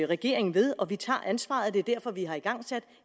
regeringen ved og vi tager ansvaret og det er derfor vi har igangsat